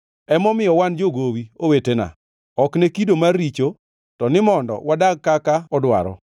Emomiyo wan jogowi, owetena, ok ne kido mar richo, to ni mondo wadag kaka odwaro.